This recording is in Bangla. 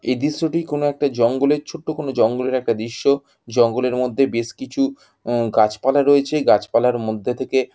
এই দৃশ্যটি কোনো একটা জঙ্গলের ছোট কোনো জঙ্গলের একটা দৃশ্য। জঙ্গলের মধ্যে বেশ কিছু উম গাছপালা রয়েছে গাছপালার মধ্যে থেকে --